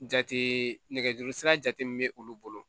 Jate nɛgɛjuru sira jate min bɛ olu bolo